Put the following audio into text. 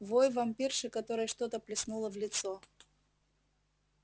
вой вампирши которой что-то плеснула в лицо